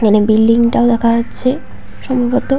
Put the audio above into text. এখানে বিল্ডিং টা দেখা যাচ্ছে। সম্ভবত--